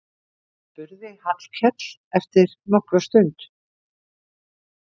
spurði Hallkell eftir nokkra stund.